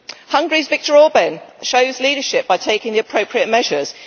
Hungary's Viktor Orbán shows leadership by taking the appropriate measures.